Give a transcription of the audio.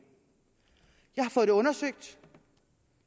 jeg har fået det undersøgt